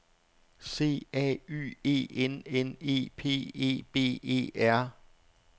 C A Y E N N E P E B E R